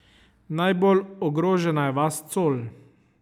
Najbolj ogrožena je vas Col.